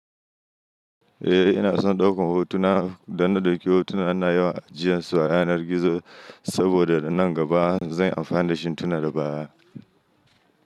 Eh ina son ɗaukan hotuna, idan na ɗauki hotuna ina yawan ajiyan su a yanar gizo saboda da nan gaba zanyi amfani da shi tuna da baya.